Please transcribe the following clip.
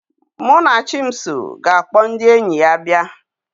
Munachimso ga-akpọ ndị enyi ya abịa